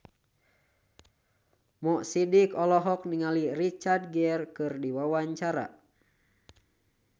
Mo Sidik olohok ningali Richard Gere keur diwawancara